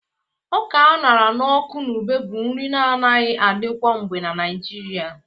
Ọka a ṅara n'ọkụ na ube bụ nri na-anaghi adi kwangbe na Naịjirịa